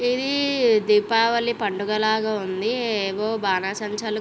ఇది దీపావళి పండుగ లాగా ఉంది ఏవో బాణాసంచాలు.